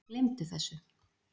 Gleymdu þessu!